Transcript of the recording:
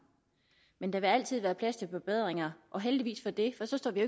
men der vil altid være plads til forbedringer og heldigvis for det for så står vi